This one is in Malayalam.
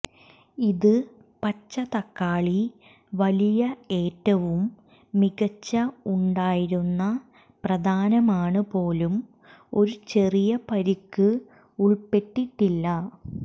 ഇത് പച്ച തക്കാളി വലിയ ഏറ്റവും മികച്ച ഉണ്ടായിരുന്ന പ്രധാനമാണ് പോലും ഒരു ചെറിയ പരിക്ക് ഉൾപ്പെട്ടിട്ടില്ല